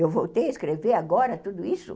Eu voltei a escrever agora, tudo isso?